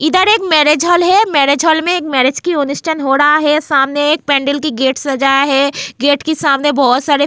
इधर एक marriage hall है मैरिज हॉल में एक मैरिज की अनुष्ठान हो रहा है सामने एक पेंडल की गेट सजाया है गेट के सामने बहुत सारे --